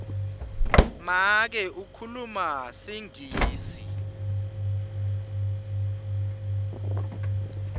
make ukhuluma singisi